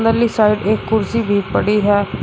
Side एक कुर्सी भी पड़ी है।